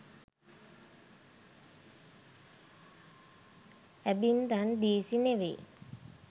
ඇබින්දන් දීසි නෙවෙයි